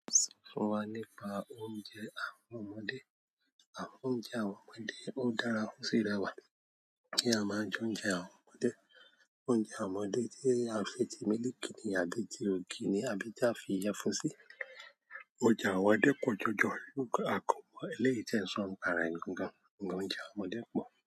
Fún wa nípa oúnjẹ àwọn ọmọdé. Àh oúnjẹ àwọn ọmọdé ó dára o si rẹwà keeyan máa jẹ oúnjẹ àwọn ọmọdé. Oúnjẹ àwọn ọmọdé tí a fi ti mílìkì ní àbí ti ògì ni àbí ti a fi iyẹfun sí. Oúnjẹ àwọn ọmọdé pọ̀ jọjọ, a a kàn mo eleyii ti e n so npa re gangan ṣùgbọ́n oúnjẹ àwọn ọmọdé pọ̀